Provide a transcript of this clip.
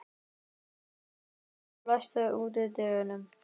Guðbjörg, læstu útidyrunum.